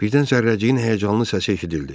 Birdən zərrəciyin həyəcanlı səsi eşidildi.